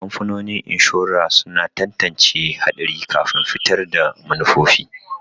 Kamfanonin inshora suna tantance haɗari kafin fitar da manufofi.